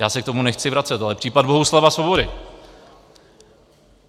Já se k tomu nechci vracet, ale případ Bohuslava Svobody.